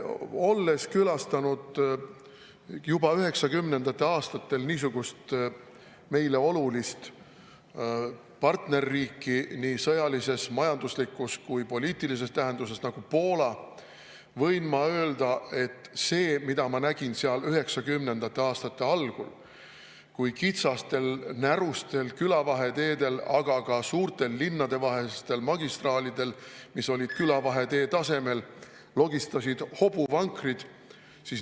Olles külastanud juba 1990. aastatel meile olulist partnerriiki nii sõjalises, majanduslikus kui ka poliitilises tähenduses, nagu Poola, võin ma öelda, mida ma nägin seal 1990. aastate algul: kitsastel, närustel külavaheteedel, aga ka suurtel linnadevahelistel magistraalidel, mis olid külavahetee tasemel, logistasid hobuvankrid.